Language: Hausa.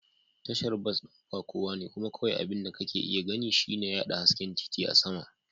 Tashar bas ɗin ba kowa ne kuma kawai abin da kake iya gani shine yaɗa hasken titi a sama.